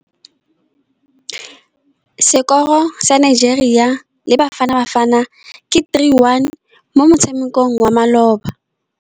Sekôrô sa Nigeria le Bafanabafana ke 3-1 mo motshamekong wa malôba.